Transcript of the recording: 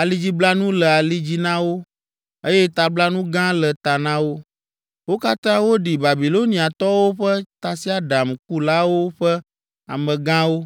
alidziblanu le ali dzi na wo, eye tablanu gã le ta na wo. Wo katã woɖi Babiloniatɔwo ƒe tasiaɖamkulawo ƒe amegãwo,